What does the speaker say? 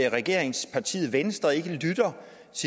regeringspartiet venstre ikke lytter til